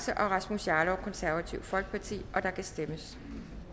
rasmus jarlov og der kan stemmes